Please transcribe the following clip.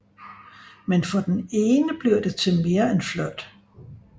Men for den ene bliver det til mere end flirt